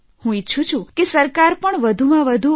હું ઇચ્છું છું કે સરકાર પણ વધુમાં વધુ એન